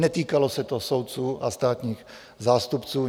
Netýkalo se to soudců a státních zástupců.